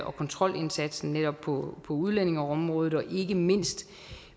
og kontrolindsatsen netop på udlændingeområdet og ikke mindst